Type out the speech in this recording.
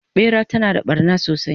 ɓera tana da ɓarna sosai